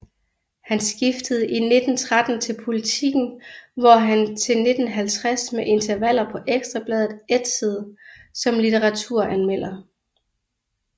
Han skiftede i 1913 til Politiken hvor han til 1950 med intervaller på Ekstra Bladet ætsede som litteraturanmelder